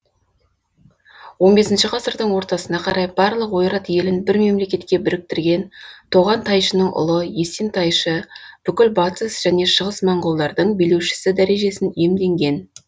он бесінші ғасырдың ортасына қарай барлық ойрат елін бір мемлекетке біріктірген тоған тайшының ұлы есен тайшы бүкіл батыс және шығыс монғолдардың билеушісі дәрежесін иемденген